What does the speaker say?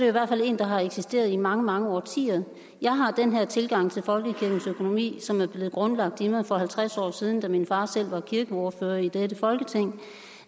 i hvert fald en der har eksisteret i mange mange årtier jeg har den her tilgang til folkekirkens økonomi som er blevet grundlagt i mig for halvtreds år siden da min far selv var kirkeordfører i dette folketing